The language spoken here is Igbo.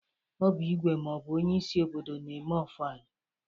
Ọ bụ igwe maọbụ onyeisi obodo na-eme ofala.